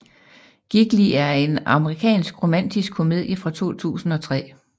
Gigli er en amerikansk romantisk komedie fra 2003